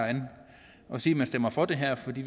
at sige man stemmer for det her fordi